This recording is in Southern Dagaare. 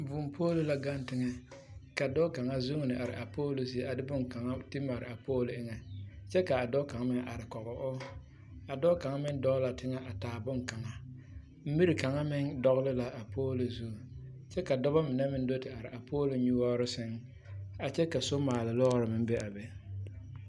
Karendie la ka karema mine zeŋ ka a karembiiri ŋmaaɡyili kyɛ ka a karema a te a karembie kaŋ naŋ pɛɡele peepadoɔ kyɛ ka kaŋ meŋ su kparpelaa a meŋ zeŋ a kɔɡe a karembiiri mine a kaara ba kyɛ ka ba laara.